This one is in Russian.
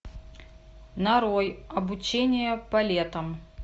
нарой обучение полетам